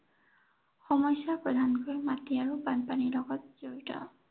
সমস্য়া প্ৰধানকৈ মাটি আৰু বানপানীৰ লগত জড়িত।